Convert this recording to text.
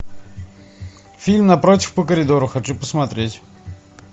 фильм напротив по коридору хочу посмотреть